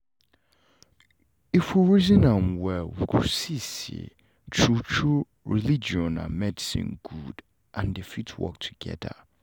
if we reason am well we go see say true-true religion and medicine good and dem fit go together